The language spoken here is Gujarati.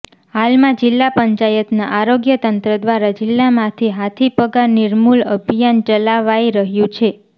હાલમાં જિલ્લા પંચાયતના આરોગ્ય તંત્ર દ્વારા જિલ્લામાંથી હાથીપગા નિર્મૂલ અભિયાન ચલાવાઈ રહ્યું છે